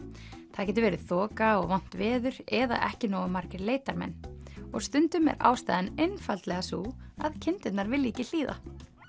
það getur verið þoka og vont veður eða ekki nógu margir leitarmenn og stundum er ástæðan einfaldlega sú að kindurnar vilja ekki hlýða